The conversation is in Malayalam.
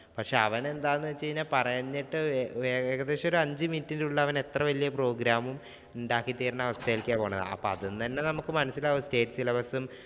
പക്ഷേ അവൻ എന്താന്ന് വെച്ചാൽ പറഞ്ഞിട്ട് ഏകദേശം ഒരു അഞ്ചു minute ഇന്‍റെ ഉള്ളില്‍ അവനെത്ര വല്യ program ഉം ഉണ്ടാക്കിത്തരുന്ന അവസ്ഥയിലേക്കാണ് പോകുന്നത്. അപ്പോ അതിനു തന്നെ നമുക്ക് മനസ്സിലാവും state syllabus ഉം,